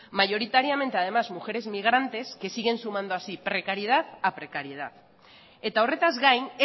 mayoritariamente además mujeres inmigrantes que siguen sumando así precariedad a precariedad eta horretaz gain